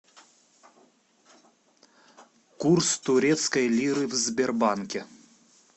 курс турецкой лиры в сбербанке